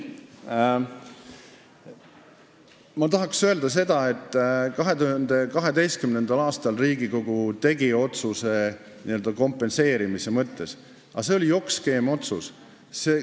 Ma tahan öelda seda, et 2012. aastal Riigikogu tegi otsuse n-ö kompenseerimise kohta, aga see oli jokkskeemi otsus.